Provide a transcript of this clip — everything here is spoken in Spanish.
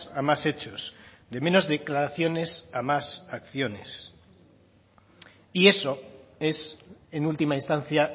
a más hechos de menos declaraciones a más acciones y eso es en última instancia